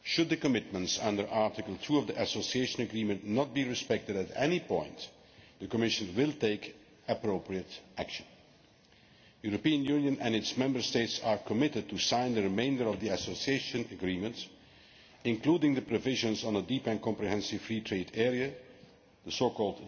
Should the commitments under Article 2 of the Association Agreement not be respected at any point, the Commission will take appropriate action. The European Union and its Member States are committed to signing the remainder of the Association Agreement, including the provisions on a Deep and Comprehensive Free Trade Area